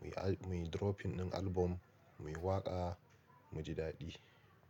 muyi muyi dropping din album, muyi waƙa, mu ji daɗi.